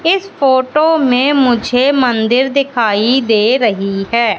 इस फोटो में मुझे मंदिर दिखाई दे रही है।